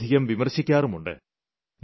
വളരെയധികം വിമർശിക്കാറുമുണ്ട്